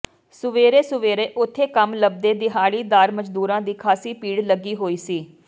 ਸੁਵੇਰੇ ਸੁਵੇਰੇ ਓਥੇ ਕੰਮ ਲੱਭਦੇ ਦਿਹਾੜੀ ਦਾਰ ਮਜਦੂਰਾਂ ਦੀ ਖਾਸੀ ਭੀੜ ਲੱਗੀ ਹੋਈ ਸੀ